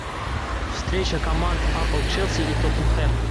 встреча команд апл челси и тоттенхэм